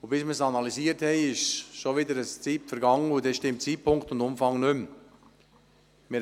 Bis wir sie analysiert haben, wird eine gewisse Zeit vergangen sein, und dann stimmen Zeitpunkt und Umfang nicht mehr.